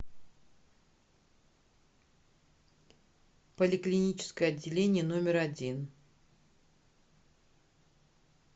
поликлиническое отделение номер один